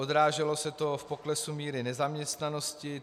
Odráželo se to v poklesu míry nezaměstnanosti.